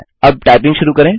अब टाइपिंग शुरू करें